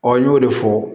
n y'o de fɔ